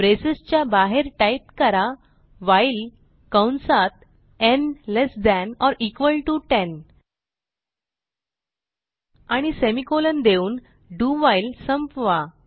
braces च्या बाहेर type करा व्हाईल कंसात आणि semi कॉलन देऊन do व्हाईल संपवा